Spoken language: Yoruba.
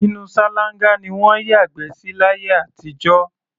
Inú ṣáláńgá ni wọ́n ń yàgbẹ́ sí láyé àtijọ́.